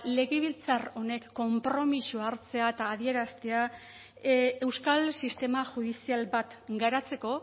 legebiltzar honek konpromisoa hartzea eta adieraztea euskal sistema judizial bat garatzeko